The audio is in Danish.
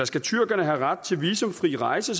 skal tyrkerne have ret til visumfri indrejse